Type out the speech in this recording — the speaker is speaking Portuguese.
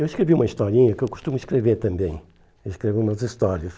Eu escrevi uma historinha, que eu costumo escrever também, escrevo umas histórias.